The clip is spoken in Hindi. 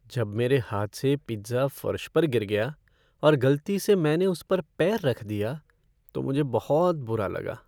जब मेरे हाथ से पिज़्ज़ा फ़र्श पर गिर गया और गलती से मैंने उस पर पैर रख दिया तो मुझे बहुत बुरा लगा।